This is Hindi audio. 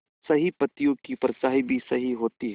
सही पत्तियों की परछाईं भी सही होती है